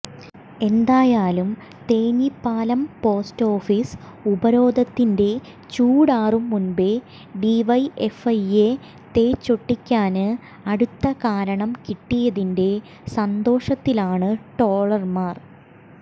എന്തായാലും Thenhipalam post office ഉപരോധത്തിന്റെ ചൂടാറും മുമ്പേ ഡിവൈഎഫ്ഐയെ തേച്ചൊട്ടിക്കാന് അടുത്ത കാരണം കിട്ടിയതിന്റെ സന്തോഷത്തിലാണ് ട്രോളന്മാര്